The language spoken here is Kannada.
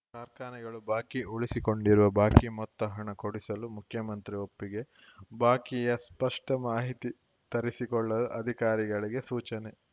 ಕಾರ್ಖಾನೆಗಳು ಬಾಕಿ ಉಳಿಸಿಕೊಂಡಿರುವ ಬಾಕಿ ಮೊತ್ತ ಹಣ ಕೊಡಿಸಲು ಮುಖ್ಯಮಂತ್ರಿ ಒಪ್ಪಿಗೆ ಬಾಕಿಯ ಸ್ಪಷ್ಟಮಾಹಿತಿ ತರಿಸಿಕೊಳ್ಳಲು ಅಧಿಕಾರಿಗಳಿಗೆ ಸೂಚನೆ